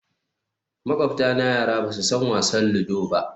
Makwabtana yara ba su san wasan ludo ba